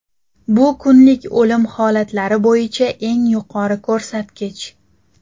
Bu kunlik o‘lim holatlari bo‘yicha eng yuqori ko‘rsatkich.